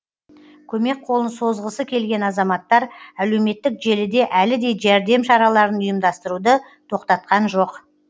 көмек қолын созғысы келген азаматтар әлеуметтік желіде әлі де жәрдем шараларын ұйымдастыруды тоқтатқан жоқ